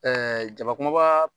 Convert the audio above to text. Ɛɛ jabakumaba